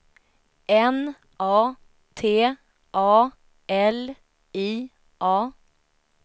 N A T A L I A